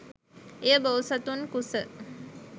එය බෝසතුන් කුස